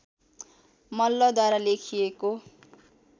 मल्लद्वारा लेखिएको